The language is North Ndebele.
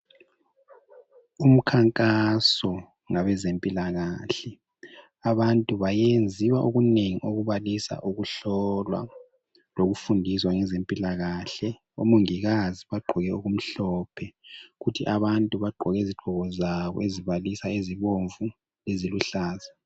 Umkhankaso labezempilakahle abantu bayenziwa okunengi okubalisa ukuhlolwa lokufundiswa ngezempilakahle. Omongikazi bagqoke okumhlophe kuthi abantu bagqoke izigqoko zabo ezibalisa ezibomvu, eziluhlaza